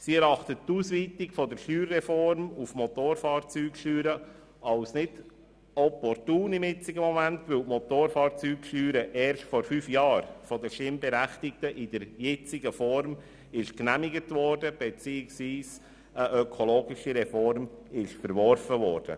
Sie erachtet die Ausweitung der Steuerreform auf die Motorfahrzeugsteuer gegenwärtig nicht als opportun, weil die Motorfahrzeugsteuer in der jetzigen Form erst vor fünf Jahren von den Stimmberechtigten bestätigt wurden, indem sie eine ökologische Reform verworfen haben.